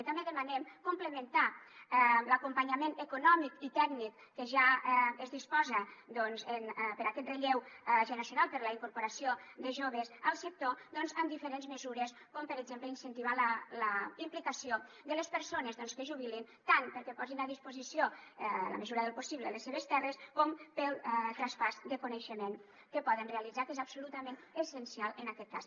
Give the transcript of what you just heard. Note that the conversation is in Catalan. i també demanem complementar l’acompanyament econòmic i tècnic que ja es disposa doncs per a aquest relleu generacional per a la incorporació de joves al sector amb diferents mesures com per exemple incentivar la implicació de les persones que es jubilen tant perquè posin a disposició en la mesura del possible les seves terres com per al traspàs de coneixement que poden realitzar que és absolutament essencial en aquest cas